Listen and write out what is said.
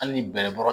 Hali ni bɛlɛbɔra